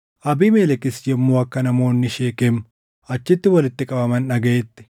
Abiimelekis yommuu akka namoonni Sheekem achitti walitti qabaman dhagaʼetti,